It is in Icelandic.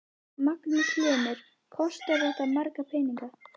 Magnús Hlynur: Kostar þetta marga peninga?